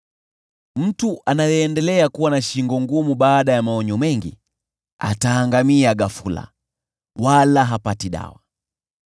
Mtu anayeendelea kuwa na shingo ngumu baada ya maonyo mengi, ataangamia ghafula, wala hapati dawa.